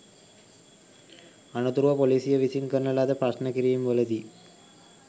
අනතුරුව පොලීසිය විසින් කරන ලද ප්‍රශ්ණ කිරීම්වලදී